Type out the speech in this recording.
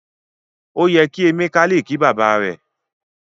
O yẹ kí Emeka le ki baba rẹ.